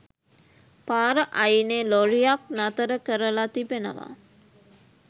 පාර අයිනේ ලොරියක් නතර කරලා තිබෙනවා